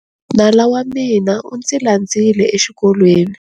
Nala wa mina u ndzi landzile exikolweni.